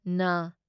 ꯅ